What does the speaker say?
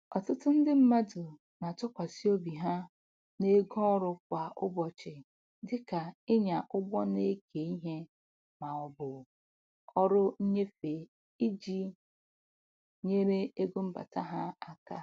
Ọtụtụ ndị mmadụ na-atụkwasị obi ha n'ego ọrụ kwa ụbọchị dịka ịnya ụgbọ na-eke ihe ma ọ bụ ọrụ nnyefe iji nyere ego mbata ha aka.